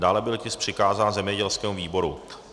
Dále byl tisk přikázán zemědělskému výboru.